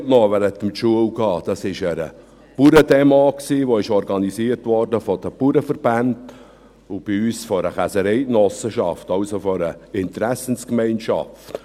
Es war eine Bauerndemo, die von den Bauernverbänden organisiert worden war und von einer Käsereigenossenschaft bei uns, also von einer Interessengemeinschaft.